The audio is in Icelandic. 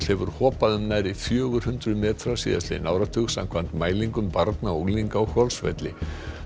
hefur hopað um nærri fjögur hundruð metra síðastliðinn áratug samkvæmt mælingum barna og unglinga á Hvolsvelli